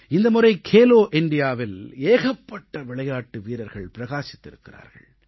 இந்த முறை கேலோ இண்டியாவில் ஏகப்பட்ட விளையாட்டு வீரர்கள் பிரகாசித்திருக்கிறார்கள்